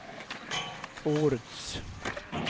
årets